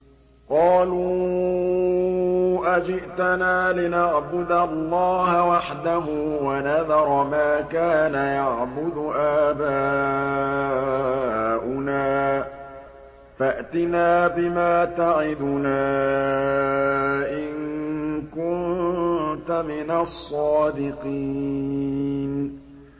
قَالُوا أَجِئْتَنَا لِنَعْبُدَ اللَّهَ وَحْدَهُ وَنَذَرَ مَا كَانَ يَعْبُدُ آبَاؤُنَا ۖ فَأْتِنَا بِمَا تَعِدُنَا إِن كُنتَ مِنَ الصَّادِقِينَ